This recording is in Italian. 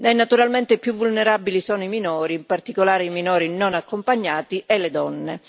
Naturalmente i più vulnerabili sono i minori, in particolare i minori non accompagnati, e le donne.